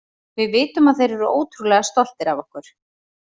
Við vitum að þeir eru ótrúlega stoltir af okkur.